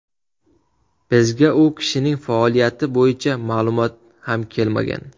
Bizga u kishining faoliyati bo‘yicha ma’lumot ham kelmagan.